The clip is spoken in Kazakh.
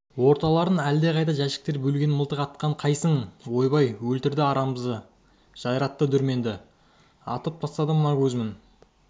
орталарын әлдеқандай жәшіктер бөлген мылтық атқан қайсың ойбай өлтірді арысымызды жайратты дүрменді атып тастады мына көзмін